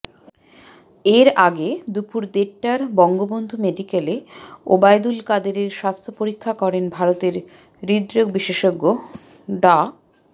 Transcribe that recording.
এর আগে দুপর দেড়টার বঙ্গবন্ধু মেডিকেলে ওবায়দুল কাদেরের স্বাস্থ্য পরীক্ষা করেন ভারতের হৃদরোগ বিশেষজ্ঞ ডা